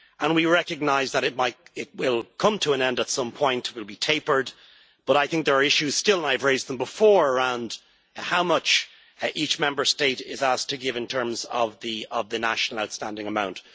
We recognise that it will come to an end at some point, it will be tapered, but I think there are issues still, and I have raised them before, surrounding how much each Member State is asked to give in terms of the national outstanding amount.